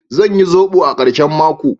Zan yi zobo a karshen mako.